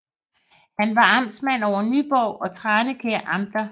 Han var amtmand over Nyborg og Tranekær Amter